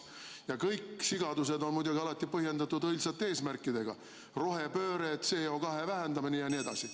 Ja kõik sigadused on muidugi alati põhjendatud õilsate eesmärkidega: rohepööre, CO2 vähendamine jne.